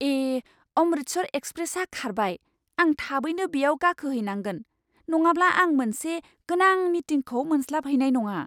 ए! अमृतसर एक्सप्रेसआ खारबाय! आं थाबैनो बेयाव गाखोहैनांगोन, नङाब्ला आं मोनसे गोनां मिटिंखौ मोनस्लाबहैनाय नङा!